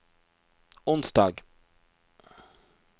onsdag